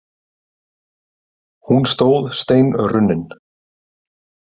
Hún stóð steinrunnin.